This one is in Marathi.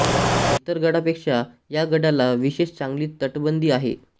इतर गडापेक्षा या गडाला विशेष चांगली तटबंदी आहे